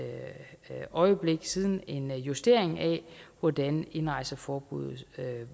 øjeblik siden en justering af hvordan indrejseforbud